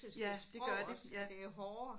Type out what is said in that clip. Ja det gør det. Ja